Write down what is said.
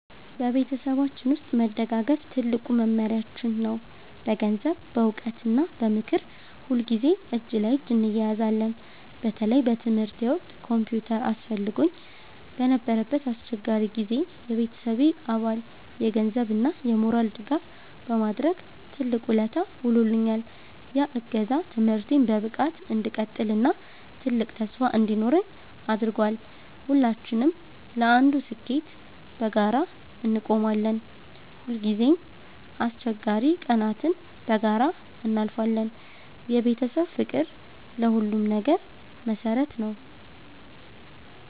በቤተሰባችን ውስጥ መደጋገፍ ትልቁ መመሪያችን ነው። በገንዘብ፣ በዕውቀት እና በምክር ሁልጊዜ እጅ ለእጅ እንያያዛለን። በተለይ በትምህርቴ ወቅት ኮምፒውተር አስፈልጎኝ በነበረበት አስቸጋሪ ጊዜ፣ የቤተሰቤ አባል የገንዘብ እና የሞራል ድጋፍ በማድረግ ትልቅ ውለታ ውሎልኛል። ያ እገዛ ትምህርቴን በብቃት እንድቀጥል እና ትልቅ ተስፋ እንዲኖረኝ አድርጓል። ሁላችንም ለአንዱ ስኬት በጋራ እንቆማለን። ሁልጊዜም አስቸጋሪ ቀናትን በጋራ እናልፋለን። የቤተሰብ ፍቅር ለሁሉም ነገር መሰረት ነው።